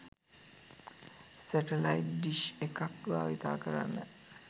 satellite dish එකක් භවිතා කරන්න